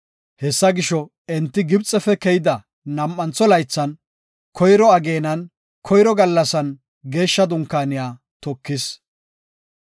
Hessa gisho, enti Gibxefe keyida nam7antho laythan, koyro ageenan, koyro gallasan Geeshsha Dunkaaniya tokis.